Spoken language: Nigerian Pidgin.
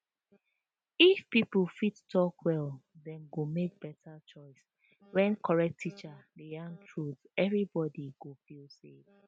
if people fit talk well dem go make better choice when correct teacher dey yarn truth everybody go feel safe